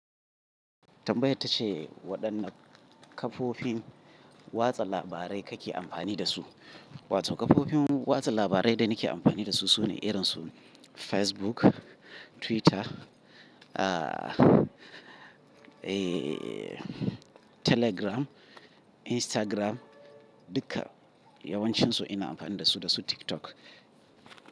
Tambayar ta ce waɗanne kafofin watsa labarai kake amfani da su. Wato kafofin watsa labarai da nake amfani da su su ne irin su Facebook, Twitter, aa, ee, Telegram, Instagram duka yawancinsu ina amfani da su, da su TikTok.